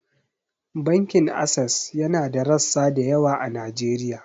Bankin Ases yana da rassa da yawa a Najeriya.